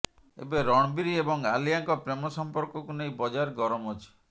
ଏବେ ରଣବୀର ଏବଂ ଆଲିଆଙ୍କ ପ୍ରେମ ସଂପର୍କକୁ ନେଇ ବଜାର ଗରମ ଅଛି